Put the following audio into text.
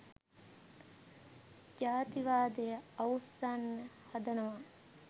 ජාතිවාදය අවුස්සන්න හදනවා.